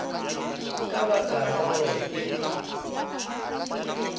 ka baka la gore e